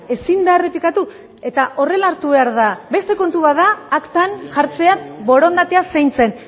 ezin da errepikatu eta horrela hartu behar da beste kontu bat da aktan jartzea borondatea zein zen